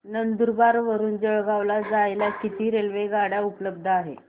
नंदुरबार वरून जळगाव ला जायला किती रेलेवगाडया उपलब्ध आहेत